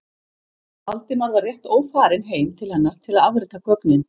Valdimar var rétt ófarinn heim til hennar til að afrita gögnin.